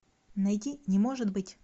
найди не может быть